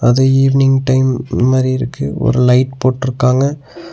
இந்த evening time மாரி இருக்கு ஒரு லைட் போட்ருக்காங்க.